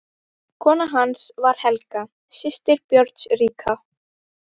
Kona hans var Helga, systir Björns ríka.